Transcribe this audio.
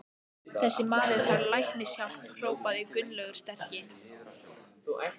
Þessi maður þarf læknishjálp hrópaði Gunnlaugur sterki.